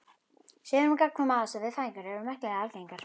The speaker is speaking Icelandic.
Sögur um gagnkvæma aðstoð við fæðingar eru merkilega algengar.